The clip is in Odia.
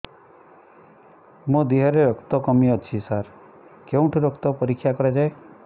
ମୋ ଦିହରେ ରକ୍ତ କମି ଅଛି ସାର କେଉଁଠି ରକ୍ତ ପରୀକ୍ଷା କରାଯାଏ